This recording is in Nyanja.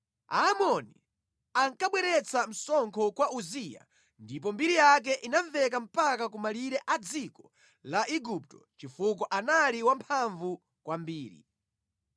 Aamoni ankabweretsa msonkho kwa Uziya ndipo mbiri yake inamveka mpaka ku malire a dziko la Igupto chifukwa anali wamphamvu kwambiri.